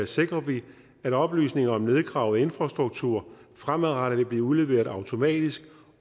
sikrer vi at oplysninger om nedgravet infrastruktur fremadrettet vil blive udleveret automatisk